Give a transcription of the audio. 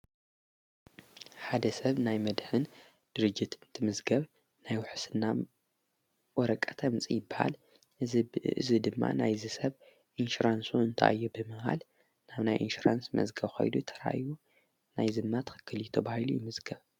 ሓደ ሰብ ናይ መድኅን ድርጅት እንትምዝገብ ናይ ውሕስና ወረቀት ተኣምፂ በሃል እዝ ድማ ናይዝ ሰብ ኢንሽራንሱ እንታዮ ብመሃል ናብ ናይ ኢንሽራንስ መዝገብ ኸይዶ ተራዮ ናይ ዝይማ ትኸክል ዮብሂሉ ይምዝገብ።